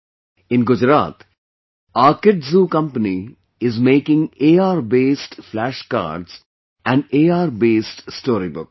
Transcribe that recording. In Gujarat, Arkidzoo Company is making ARbased Flash Cards and ARbased Storybooks